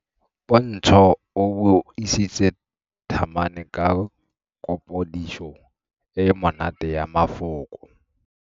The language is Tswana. Pontshô o buisitse thamane ka kapodisô e e monate ya mafoko.